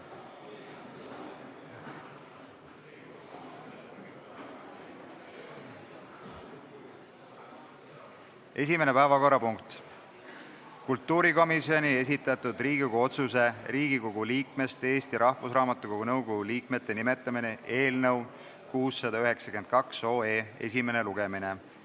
Esimene päevakorrapunkt on kultuurikomisjoni esitatud Riigikogu otsuse "Riigikogu liikmest Eesti Rahvusraamatukogu nõukogu liikmete nimetamine" eelnõu 692 esimene lugemine.